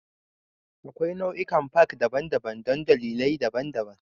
Akwai nau'ikan Park daban-daban don dalilai daban-daban